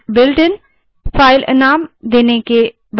output echo को shell bulletin के रूप में दिखाता है